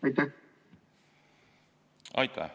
Aitäh!